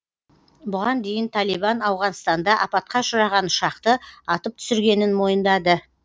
бұған дейін талибан ауғанстанда апатқа ұшыраған ұшақты атып түсіргенін мойындады